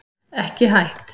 Ekki hætt